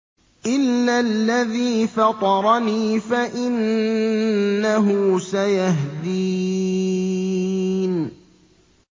إِلَّا الَّذِي فَطَرَنِي فَإِنَّهُ سَيَهْدِينِ